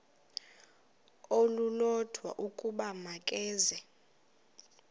olulodwa ukuba makeze